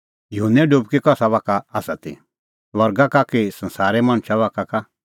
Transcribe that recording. युहन्ने डुबकी कसा बाखा का ती स्वर्गा बाखा का कि संसारे मणछा बाखा का